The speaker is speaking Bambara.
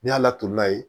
Ni y'a laturu la yen